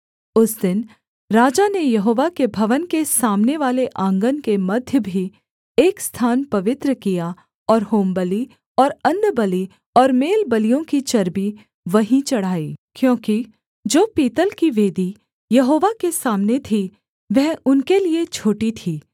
उस दिन राजा ने यहोवा के भवन के सामनेवाले आँगन के मध्य भी एक स्थान पवित्र किया और होमबलि और अन्नबलि और मेलबलियों की चर्बी वहीं चढ़ाई क्योंकि जो पीतल की वेदी यहोवा के सामने थी वह उनके लिये छोटी थी